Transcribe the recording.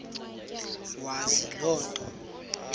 wazi loo nto